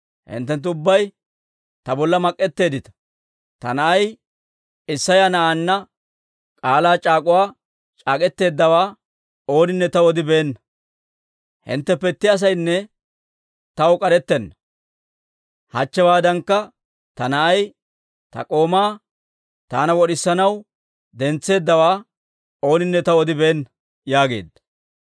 Hinttenttu ubbay ta bolla mak'etteeddita; ta na'ay Isseya na'aanna k'aalaa c'aak'uwaa c'ak'k'eteeddawaa ooninne taw odibeenna. Hintteppe itti asaynne taw k'arettenna; hachchewaadankka ta na'ay ta k'oomaa taana wod'isanaw dentseeddawaa ooninne taw odibeenna» yaageedda.